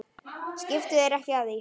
Skiptu þér ekki af því.